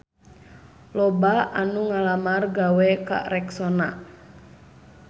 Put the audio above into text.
Loba anu ngalamar gawe ka Rexona